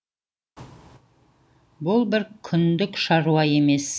бұл бір күндік шаруа емес